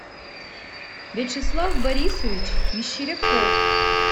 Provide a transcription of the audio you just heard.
вячеслав борисович мещеряков